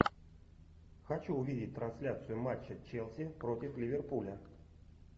хочу увидеть трансляцию матча челси против ливерпуля